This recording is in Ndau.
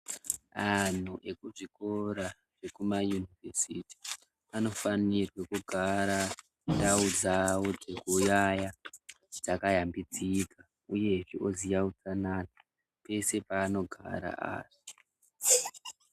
Anhu ekuzvikora zvekumayunivhesiti, anofanirwe kugara ndau dzavo dzekuyaya dzakayambidzika, uyehe oziya utsanana pese paanogara ari.